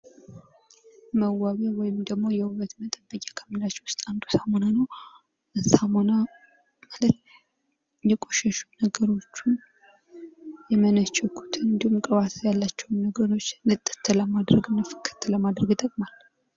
መዋቢያ ወይም ደግሞ የዉበት መጠበቂያ ከምንላቸዉ ዉስጥ አንዱ ሳሙና ነዉ። ሳሙና ማለት የቆሸሹ ነገሮችን የመነቸኩትን እንዲሁም ቅባት ያላቸዉን ነገሮች ንጥት ለማድረግ እና ፍክት ለማድረግ ይጠቅማል።